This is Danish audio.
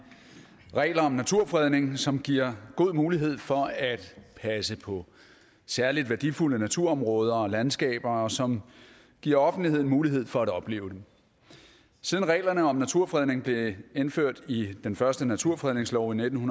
regler om naturfredning som giver god mulighed for at passe på særligt værdifulde naturområder og landskaber og som giver offentligheden mulighed for at opleve den siden reglerne om naturfredning blev indført i den første naturfredningslov i nitten